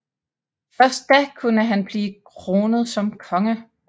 Først da kunne han blive kronet som konge